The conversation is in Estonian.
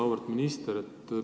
Auväärt minister!